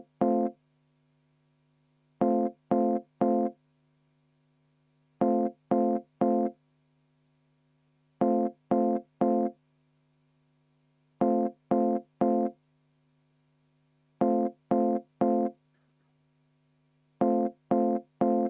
Nii et te palute seda hääletada, jah?